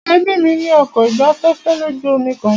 Ẹbí mí ní ọkọ̀ ìgbafẹ́fẹ́ lójú omi kan.